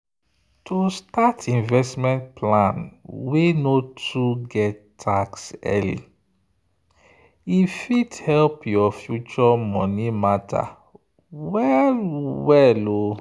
to start investment plan wey no too get tax early e fit help your future money matter well-well.